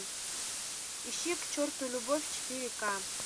ищи к черту любовь четыре ка